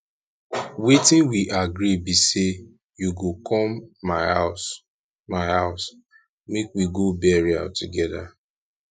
wetin we agree be say you go come my house my house make we go burial together